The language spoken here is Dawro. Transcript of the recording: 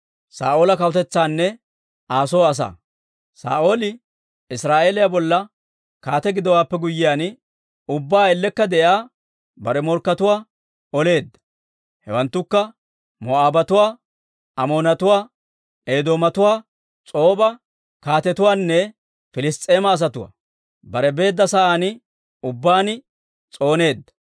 Saa'ooli Israa'eeliyaa bolla kaate gidowaappe guyyiyaan, ubbaa ellekka de'iyaa bare morkkatuwaa oleedda; hewanttukka: Moo'aabatuwaa, Amoonatuwaa, Eedoomatuwaa, S'ooba kaatetuwaanne Piliss's'eema asatuwaa. Bare beedda sa'aan ubbaan s'ooneedda.